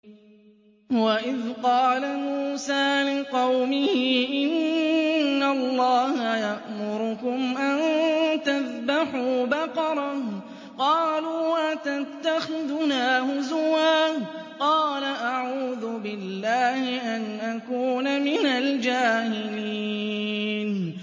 وَإِذْ قَالَ مُوسَىٰ لِقَوْمِهِ إِنَّ اللَّهَ يَأْمُرُكُمْ أَن تَذْبَحُوا بَقَرَةً ۖ قَالُوا أَتَتَّخِذُنَا هُزُوًا ۖ قَالَ أَعُوذُ بِاللَّهِ أَنْ أَكُونَ مِنَ الْجَاهِلِينَ